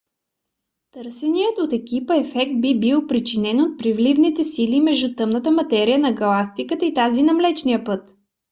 търсеният от екипа ефект би бил причинен от приливните сили между тъмната материя на галактиката и тази на млечния път